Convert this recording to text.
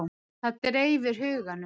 Það dreifir huganum.